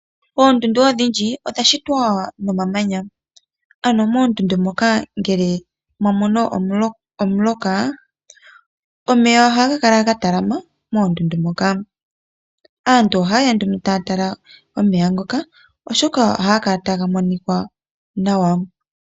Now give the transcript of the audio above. Oondundu odhindji odha shitwa momamanya ,ano moondundu moka ngele mwamono omuloka omeya ohaga kala ga talama ano moondundu moka. Aantu ohayeya nduno taya tala omeya ngoka oshoka ohaga kala taga monika nawa.